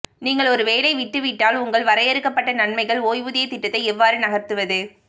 நீங்கள் ஒரு வேலை விட்டு விட்டால் உங்கள் வரையறுக்கப்பட்ட நன்மைகள் ஓய்வூதிய திட்டத்தை எவ்வாறு நகர்த்துவது